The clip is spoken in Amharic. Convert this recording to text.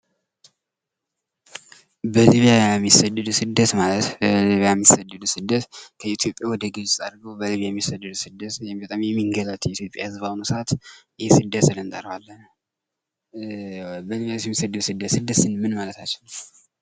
ስደት ማለት በሊቢያ የሚሰደዱት ስደት ከኢትዮጵያ በግብጽ አድርጎ በሊቢያ የሚሰደዱት በጣም የሚንገላቱ የኢትዮጵያ ህዝብ በአህኑ ሰአት ስደት ስንል ምን ማለታችን ነው?